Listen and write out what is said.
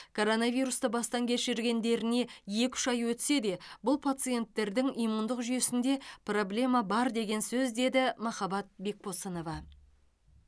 коронавирусты бастан кешіргендеріне екі үш ай өтсе де бұл пациентердің иммундық жүйесінде проблема бар деген сөз деді махаббат бекбосынова